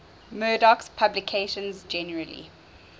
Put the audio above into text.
murdoch's publications generally